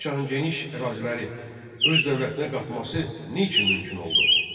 Cahan Şahın geniş əraziləri öz dövlətinə qatmaqası niçin mümkün oldu?